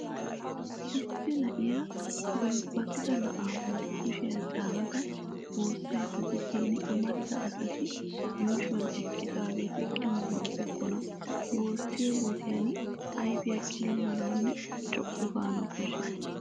Issi na'iya gulbbatida na'aa bolli kushiya caanada wossayidda diishin amarida asati yuushuwan eqqidaageeti qilimmibookkona. Woosiyo wodiyan ayfiya qilimmanawunne co'u gaanawu koshshes.